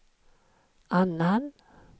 annan